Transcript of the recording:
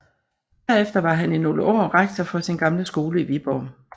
Derefter var han i nogle år rektor for sin gamle skole i Viborg